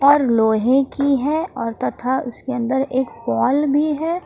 और लोहे की है और तथा उसके अंदर एक पोल भी है।